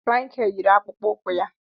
Michael yiri akpụkpọ ụkwụ ya.